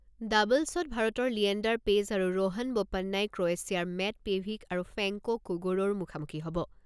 ডাবল্‌ছত ভাৰতৰ লিয়েণ্ডাৰ পেজ আৰু ৰোহান বোপ্পানাই ক্ৰৱেছিয়াৰ মেট পেভিক আৰু ফেংকো কুগোৰৰ মুখামুখি হ'ব।